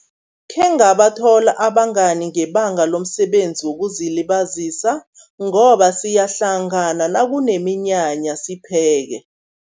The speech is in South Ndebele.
Khengabathola abangani ngebanga lomsebenzi wokuzilibazisa, ngoba siyahlangana nakuneminyanya sipheke.